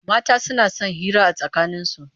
Mata suna son hira a tsakaninsu.